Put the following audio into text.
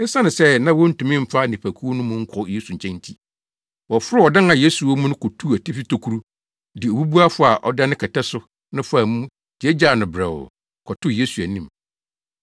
Esiane sɛ na wontumi mfa nnipakuw no mu nkɔ Yesu nkyɛn nti, wɔforoo ɔdan a Yesu wɔ mu no kotuu atifi tokuru, de obubuafo a ɔda ne kɛtɛ so no faa mu gyaagyaa no brɛoo, kɔtoo Yesu anim.